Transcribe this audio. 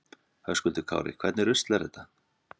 Höskuldur Kári: Hvernig rusl er þetta?